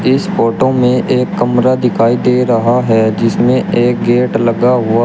इस फोटो में एक कमरा दिखाई दे रहा है जिसमें एक गेट लगा हुआ--